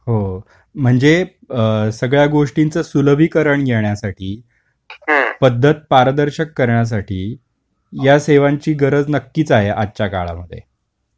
म्हणजे सगळ्या गोष्टींच सुलभीकरण येण्यासाठी ही ही पद्धत पारदर्शक करण्यासाठी या सेवांची गरज नक्की च आहे aआजच्या काळामध्ये